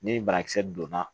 Ni banakisɛ donna